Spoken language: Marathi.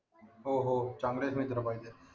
हो हो चांगलेच मित्र पाहिजे